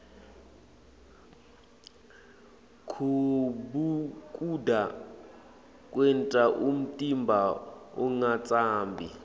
kubhukuda kwenta umtimba ungatsambi